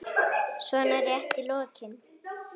svona rétt í lokin.